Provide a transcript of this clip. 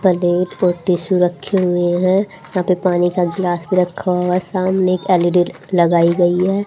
Plate और tissue रखी हुई हैं यहां पे पानी का गिलास भी रखा हुआ है सामने एक एल_ई_डी लगाई गई है।